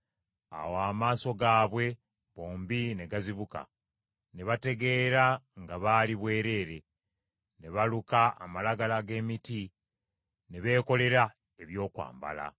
Awo amaaso gaabwe bombi ne gazibuka, ne bategeera nga baali bwereere; ne baluka amalagala g’emiti ne beekolera ebyokwambala.